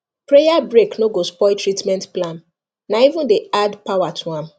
prayer break no go spoil treatment plan na even dey add power to am